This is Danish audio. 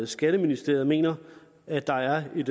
skatteministeriet mener at der er et